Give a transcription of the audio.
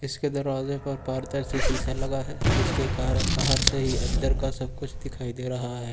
उसके दरवाजे पर पारदर्शी शीशा लगा है जिसके कारण बाहर से ही अंदर का सब कुछ दिखाई दे रहा है।